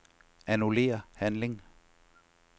Annullér handling.